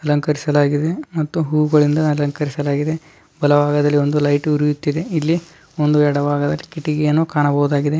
ಅಲಂಕರಿಸಲಾಗಿದೆ ಮತ್ತು ಹೂಗಳಿಂದ ಅಲಂಕರಿಸಲಾಗಿದೆ. ಬಲಬಾಗದಲ್ಲಿ ಒಂದು ಲೈಟ್ ಉರಿಯುತ್ತಿದೆ. ಇಲ್ಲಿ ಒಂದು ಎಡಬಾಗದಲ್ಲಿ ಒಂದು ಕಿಟಕಿಯನ್ನು ಕಾಣಬಹುದಾಗಿದೆ.